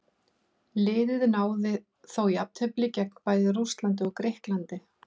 Liðið náði þó jafntefli gegn bæði Rússlandi og Grikklandi.